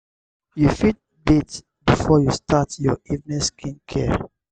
you fit bath before you start your evening skin care